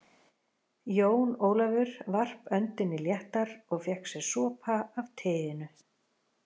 Jón Ólafur varp öndinni léttar og fékk sér sopa af teinu.